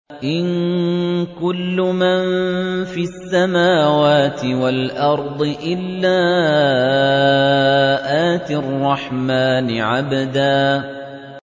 إِن كُلُّ مَن فِي السَّمَاوَاتِ وَالْأَرْضِ إِلَّا آتِي الرَّحْمَٰنِ عَبْدًا